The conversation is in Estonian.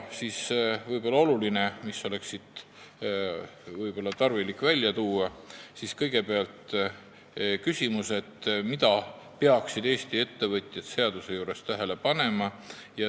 Võib-olla oleks tarvilik välja tuua küsimus, mida peaksid Eesti ettevõtjad selle seaduse puhul eriti tähele panema.